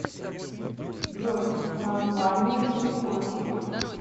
джой название никосия